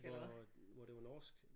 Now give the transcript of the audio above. Hvor hvor det var norsk